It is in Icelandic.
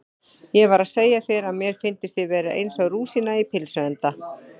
Ég var að segja þér að mér fyndist ég vera eins og rúsína í pylsuenda